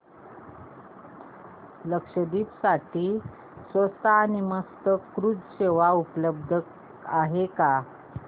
लक्षद्वीप साठी स्वस्त आणि मस्त क्रुझ सेवा उपलब्ध आहे का